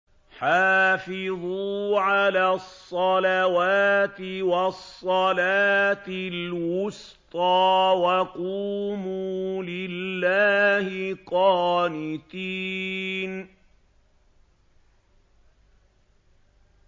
حَافِظُوا عَلَى الصَّلَوَاتِ وَالصَّلَاةِ الْوُسْطَىٰ وَقُومُوا لِلَّهِ قَانِتِينَ